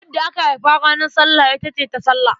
Wadda aka haifa ranar Sallah ita ce Tasallah.